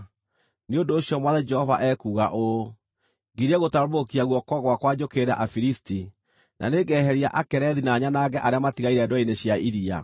nĩ ũndũ ũcio Mwathani Jehova ekuuga ũũ: Ngirie gũtambũrũkia guoko gwakwa njũkĩrĩre Afilisti, na nĩngeheria Akerethi na nyanange arĩa matigaire ndwere-inĩ cia iria.